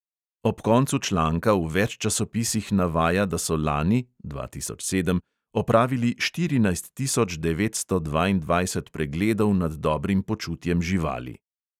Ob koncu članka v več časopisih navaja, da so lani (dva tisoč sedem) opravili štirinajst tisoč devetsto dvaindvajset pregledov nad dobrim počutjem živali.